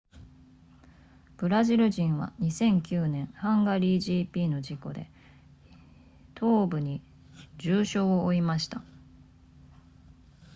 ブラジル人は2009年ハンガリー gp の事故で東部に重傷を負いました